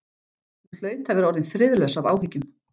Hún hlaut að vera orðin friðlaus af áhyggjum.